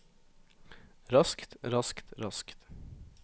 raskt raskt raskt